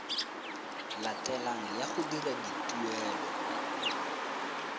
latelang ya go dira dituelo